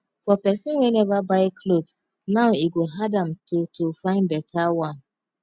for pesin wey never buy cloth now e go hard am to to fyn beta one